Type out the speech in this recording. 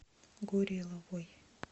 гореловой